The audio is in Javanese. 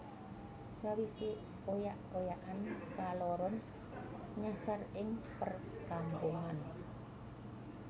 Sawise oyak oyakan kaloron nyasar ing perkampungan